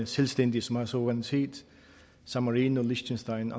selvstændige som har suverænitet san marino liechtenstein